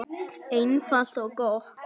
Einfalt og gott.